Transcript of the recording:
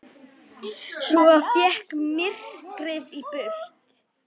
Svo vék myrkrið burt.